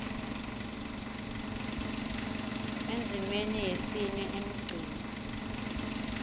endzimeni yesine emgceni